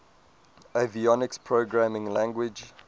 avionics programming language